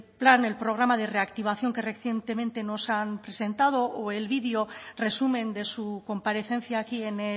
plan el programa de reactivación que recientemente nos han presentado o el vídeo resumen de su comparecencia aquí en